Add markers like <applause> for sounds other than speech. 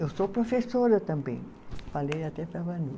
Eu sou professora também, falei até para a <unintelligible>